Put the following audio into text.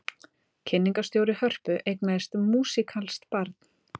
Kynningarstjóri Hörpu eignaðist músíkalskt barn